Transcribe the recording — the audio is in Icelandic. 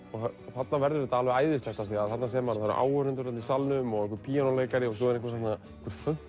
þarna verður þetta alveg æðislegt af því þarna sér maður að það eru áhorfendur í salnum og einhver píanóleikari og svo er